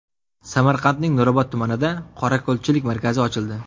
Samarqandning Nurobod tumanida qorako‘lchilik markazi ochildi.